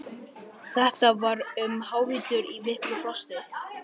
Þetta var um hávetur í miklu frosti.